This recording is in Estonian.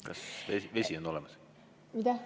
Kas vesi on olemas?